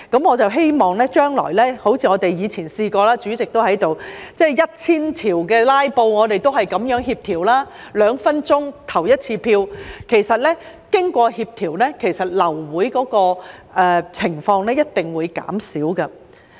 我們以前也試過——當時代理主席也在席——就多至 1,000 項修正案的"拉布"，我們也是這樣協調，兩分鐘表決一次，其實經過協調，流會的情況一定會減少。